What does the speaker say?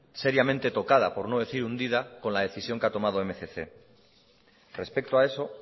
seriamente tocada por no decir hundida con la decisión que ha tomado la mil doscientos respecto a eso